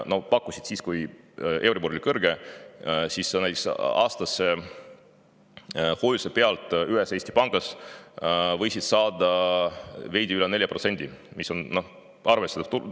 Nad pakkusid seda siis, kui euribor oli kõrge, siis võis näiteks aastase hoiuse pealt ühes Eesti pangas saada veidi üle 4%, mis on arvestatav tulusus.